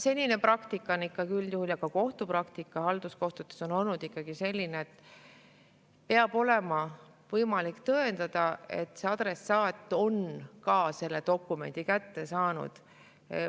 Senine praktika üldjuhul ja ka kohtupraktika halduskohtutes on olnud ikkagi selline, et peab olema võimalik tõendada, et adressaat on selle dokumendi kätte saanud.